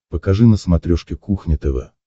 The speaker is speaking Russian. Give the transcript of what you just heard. покажи на смотрешке кухня тв